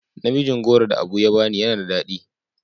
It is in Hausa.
Namijin goro da Abu ya bani yana da dadi.